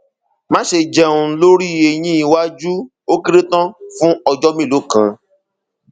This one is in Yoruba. máṣe jẹun lórí eyín iwájú ó kéré tán fún ọjọ mélòó kan